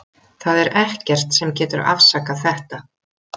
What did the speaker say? Það er ekkert sem getur afsakað þetta.